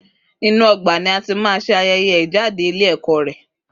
Rẹ ayẹyẹ keta wà ni ọgba o duro si ibikan